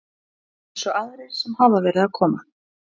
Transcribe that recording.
Eins og aðrir sem hafa verið að koma?